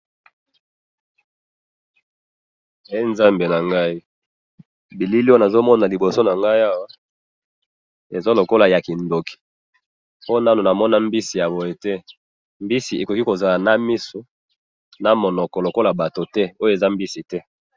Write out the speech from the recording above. Eh! Nzambe nangayi! Bilili oyo nazomona liboso nangayi awa! Eza lokola yakindoko, po nanu namona mbisi yaboye te, mbisi ekoki kozala namiso, namunoko lokola bato te, oyo eza mbisite